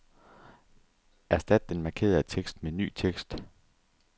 Erstat den markerede tekst med ny tekst.